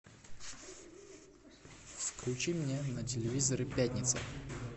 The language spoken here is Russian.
включи мне на телевизоре пятница